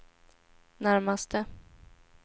närmaste